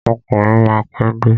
Akọ̀wé máa pé dé.